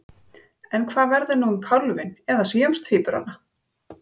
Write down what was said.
En hvað verður nú um kálfinn eða síamstvíburana?